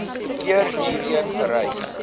keer hierheen gereis